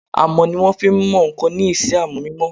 Amọ̀ ni wọ́n fí n mọ ǹkan ní isẹ́ amọ̀ mímọ